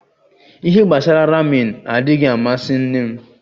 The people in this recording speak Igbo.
ihe gbasara ramin adighi amasi nne m